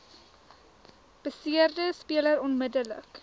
beseerde speler onmiddellik